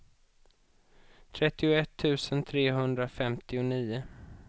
trettioett tusen trehundrafemtionio